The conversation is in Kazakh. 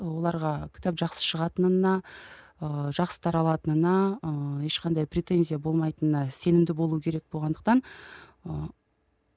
оларға кітап жақсы шығатынына ыыы жақсы таралатынына ы ешқандай претензия болмайтынына сенімді болу керек болғандықтан ыыы